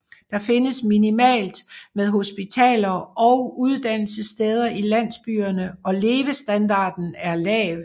Det findes minimalt med hospitaler og uddannelsessteder i landsbyerne og levestandarden er lav